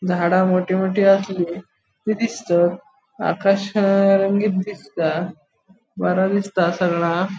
झाडा मोटी मोटी आसली ती दिसता आकाश रंगीन दिसता बरे दिसता सगळा.